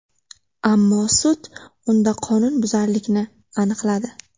Ammo sud unda qonunbuzarlikni aniqladi.